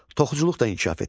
Toxuculuq da inkişaf etmişdi.